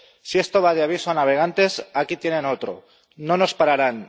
Si esto va de aviso a navegantes, aquí tienen otro. No nos pararán.